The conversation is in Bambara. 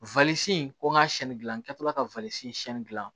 ko n ga siyɛnni dilan n kɛtɔla ka siyɛnni gilan